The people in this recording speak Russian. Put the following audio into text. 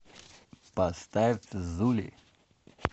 поставь зули